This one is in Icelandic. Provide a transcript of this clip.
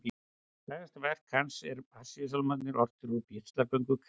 Frægasta verk hans eru Passíusálmarnir, ortir út af píslarsögu Krists.